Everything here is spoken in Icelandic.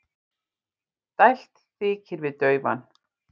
Dælt þykir við daufan.